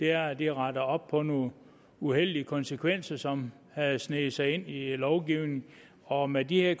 er at det retter op på nogle uheldige konsekvenser som havde sneget sig ind i lovgivningen og med de her